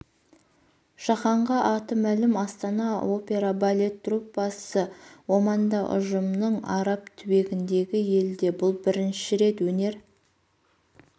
жаһанға аты мәлім астана опера балет труппасы оманда ұжымның араб түбегіндегі елде бұл бірінші рет өнер